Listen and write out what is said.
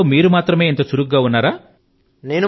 ఇంట్లో మీరు మాత్రమే ఇంత చురుకు గా ఉన్నారా